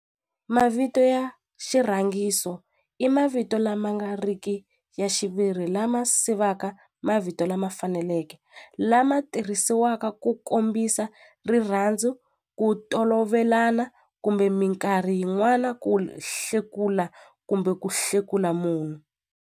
Mavito ya xirhangiso i mavito lama nga riki ya xiviri lama sivaka mavito lama faneleke lama tirhisiwaka ku kombisa rirhandzu ku tolovelana kumbe minkarhi yin'wana ku hlekula kumbe ku hlekula munhu.